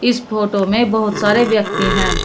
इस फोटो में बहोत सारे व्यक्ति हैं।